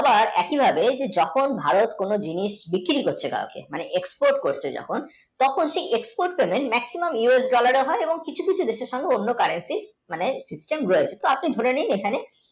একি ভাবে যখন ভারত কোনও জিনিস বিক্রি করতে যাচ্ছে মানে export করতে যখন সেই export, maximumUSdollar এ হয় এবং কিছু কিছু গুরুত্তপূর্ণ অন্য currency, rate, fixing হয় আপনি ধরে নিন এখানে